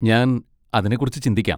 ഞാൻ അതിനെക്കുറിച്ച് ചിന്തിക്കാം.